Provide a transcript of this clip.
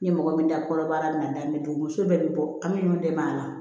Ni mɔgɔ min da kɔnɔbara n'a bɛ don muso bɛɛ bɛ bɔ an bɛ ɲɔgɔn dɛmɛ a la